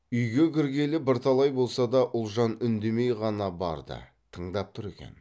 үйге кіргелі бірталай болса да ұлжан үндемей ғана барды тыңдап тұр екен